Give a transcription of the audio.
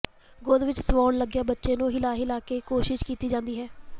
ਗੋਦ ਵਿਚ ਸਵਾਉਣ ਲੱਗਿਆਂ ਬੱਚੇ ਨੂੰ ਹਿਲਾ ਹਿਲਾ ਕੇ ਕੋਸ਼ਿਸ਼ ਕੀਤੀ ਜਾਂਦੀ ਹੈ